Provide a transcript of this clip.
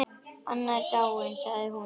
Anna er dáin sagði hún.